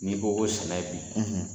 Ni ko ko sɛnɛ bi